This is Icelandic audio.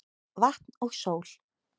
Vatn og sól